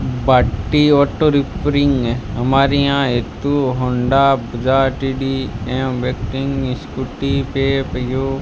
बाडी auto repairing हमारे यहां एक तू Honda Bajaj T D M waiting Scooty Pep यू --